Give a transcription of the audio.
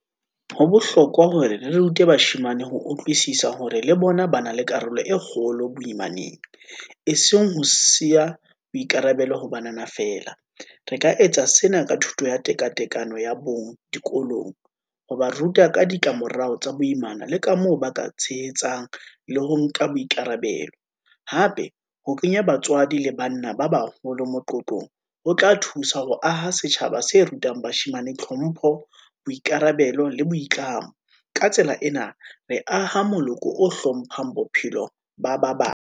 Ho bohlokwa hore re rute bashemane ho utlwisisa, hore le bona ba na le karolo e kgolo boimaneng, e seng ho siya boikarabelo ho banana fela, re ka etsa sena ka thuto ya tekatekano ya bong dikolong, ho ba ruta ka ditlamorao tsa boimana, le ka moo ba ka tshehetsang le ho nka boikarabelo. Hape ho kenya batswadi le banna ba baholo moqoqong, ho tla thusa ho aha setjhaba se rutang bashemane, tlhompho, boikarabelo le boitlamo. Ka tsela ena, re aha moloko o hlomphang bophelo ba ba bang.